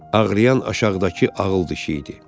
Ağrıyan aşağıdakı ağıl dişi idi.